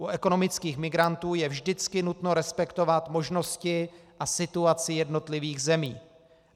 U ekonomických migrantů je vždycky nutno respektovat možnosti a situaci jednotlivých zemí.